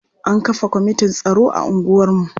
An kafa kwamitin tsaro a unguwarmu.